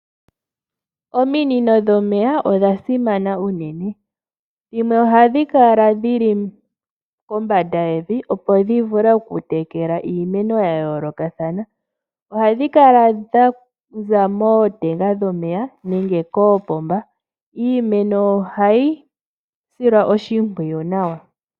Ominino dhomeya odha simana unene dhimwe ohadhi kala dhili kombanda yevi opo dhi vule okutekela iimeno ya yoolokathana. Ohadhi kala dha za mootenga dhomeya nenge koopomba. Iimeno ohayi silwa oshimpwiyu nawa.